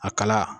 A kala